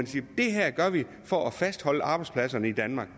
sige det her gør vi for at fastholde arbejdspladserne i danmark